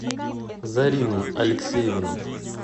зарину алексеевну